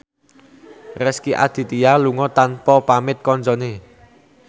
Rezky Aditya lunga tanpa pamit kancane